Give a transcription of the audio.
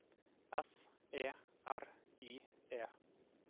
S E R I E